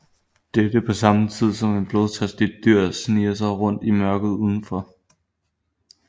Dette på samme tid som et blodtørstigt dyr sniger sig rundt i mørket udenfor